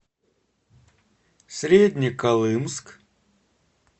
среднеколымск